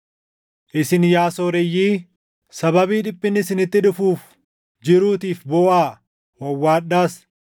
Isin yaa sooreyyii, sababii dhiphinni isinitti dhufuuf jiruutiif booʼaa; wawwaadhaas.